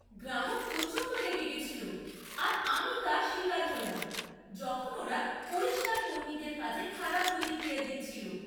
গ্রাহক প্রচণ্ড রেগে গেছিল আর আমি তার শিকার হলাম যখন ওরা পরিষ্কার কর্মীদের কাজে খারাপ প্রতিক্রিয়া দিচ্ছিল।